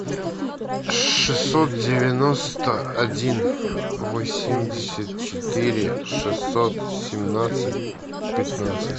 шестьсот девяносто один восемьдесят четыре шестьсот семнадцать пятнадцать